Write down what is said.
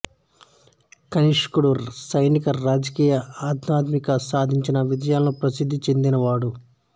కనిష్కుడు సైనిక రాజకీయ ఆధ్యాత్మికంగా సాధించిన విజయాలకు ప్రసిద్ధి చెందినవాడు